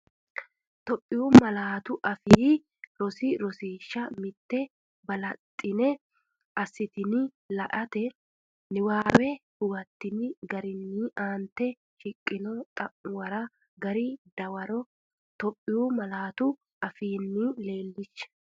Itophiyu Malaatu Afii Roso Rosiishsha Mite Balaxxine assitini la”ate niwaawenni huwattini garinni aante shiqqino xa’muwara gari dawaro Itophiyu malaatu afiinni leellishshe.